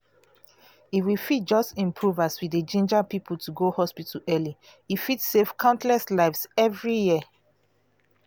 if we fit just improve as we dey ginger people to go hospital early e fit save countless lives every year.